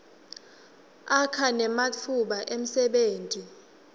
akha nematfuba emsebenti